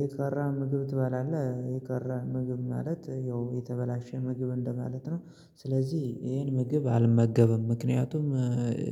የቀረ ምግብ ትባላለህ የቀረ ምግብ ማለት ያው የተበላሸ ምግብ እንደማለት ነው። ስለዚህ ይሄን ምግብ አልመገብም ምክንያቱም